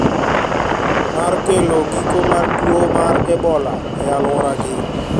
Mar kelo giko mar tuo mar Ebola e alwora gi